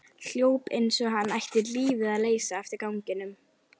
Hljóp eins og hann ætti lífið að leysa eftir ganginum.